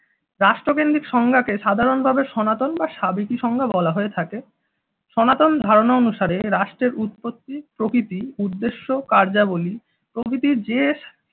রাষ্ট্রকেন্দ্রিক সংজ্ঞা কে সাধারণত আমরা সনাতন বা সাবেকি সংজ্ঞা বলা হয়ে থাকে। সনাতন ধারণা অনুসারে রাষ্ট্রের উৎপত্তি প্রকৃতি উদ্দেশ্য কার্যাবলী প্রভৃতির যে